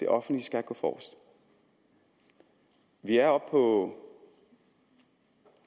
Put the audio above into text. offentlige skal gå forrest vi er oppe på